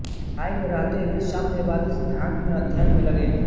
Shanghai में रहते वे साम्यवादी सिद्धान्त में अध्ययन में लगे